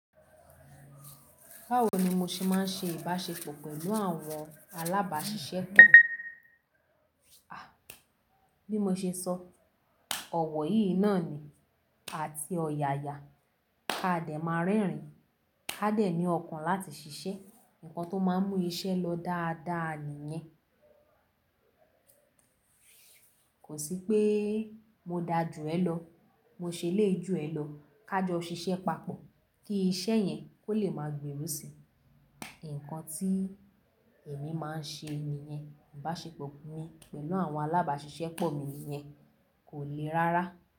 Báwo ni mo ṣe máa ń ṣe ìbáṣepọ̀ pẹ̀lú àwọn alábàáṣiṣẹ́ pọ̀? Bí mo ṣe sọ, ọ̀wọ̀ yìí náà ni àti ọ̀yààyà. A dẹ̀ máa rẹ́rìn. A dẹ̀ ní ọkàn láti ṣiṣẹ́. Ǹkan tó máa ń mú iṣẹ́ lọ dáadáa nìyẹn. Kò sí pé mo da jù ẹ lọ, mo ṣe eléyi jù ẹ lọ, ká jọ ṣiṣẹ́ papọ̀ kí iṣẹ́ yẹn kó lè máa gberú si. Ǹkan tí èmi máa ń ṣe ni yẹn, ìbáṣepọ̀ mi pẹ̀lú àwọn alábáṣiṣẹ́ pọ̀ mi niyẹn kò le rárá.